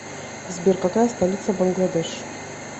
сбер какая столица бангладеш